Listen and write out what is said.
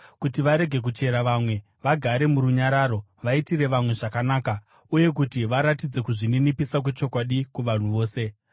kuti varege kuchera vamwe, vagare murunyararo, vaitire vamwe zvakanaka, uye kuti varatidze kuzvininipisa kwechokwadi kuvanhu vose.